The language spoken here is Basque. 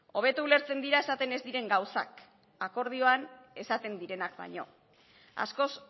hobeto ulertzen dira esaten ez diren gauzak akordioan esaten direnak baino askoz